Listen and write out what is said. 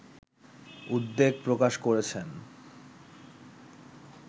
উদ্বেগ প্রকাশ করছেন